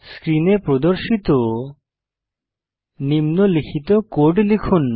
স্ক্রিনে প্রদর্শিত নিম্নলিখিত কোড লিখুন